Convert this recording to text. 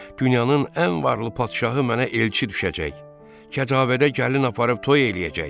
dünyanın ən varlı padşahı mənə elçi düşəcək, kəcavədə gəlin aparıb toy eləyəcək.